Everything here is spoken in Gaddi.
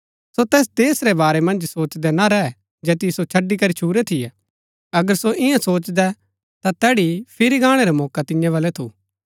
सो तैस देश रै बारै मन्ज सोचदै ना रैह जैतिओ सो छड़ी करी छुरै थियै अगर सो इन्या सोचदै ता तैड़ी फिरी गाणै रा मौका तिन्या बलै थू